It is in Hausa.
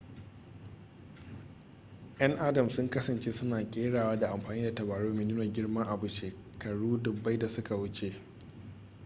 'yan adam sun kasance suna kerawa da amfani da tabarau mai nuna girman abu shekaru dubbai da suka wuce